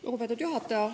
Lugupeetud juhataja!